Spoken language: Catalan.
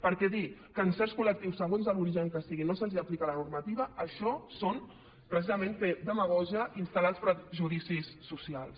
perquè dir que a certs col·lectius segons de l’origen que siguin no se’ls aplica la normativa això és precisament fer demagògia instal·lar els prejudicis socials